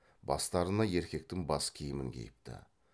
бастарына еркектің бас киімін киіпті